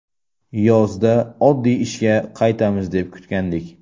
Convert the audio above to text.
Yozda oddiy ishga qaytamiz deb kutgandik.